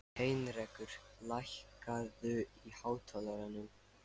Heinrekur, lækkaðu í hátalaranum.